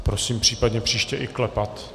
Prosím, případně příště i klepat.